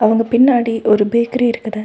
அவங்க பின்னாடி ஒரு பேக்ரீ இருக்குது.